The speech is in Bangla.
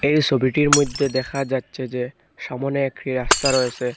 এই সোবিটির মইদ্যে দেখা যাচ্ছে যে সামনে একটি রাস্তা রয়েসে।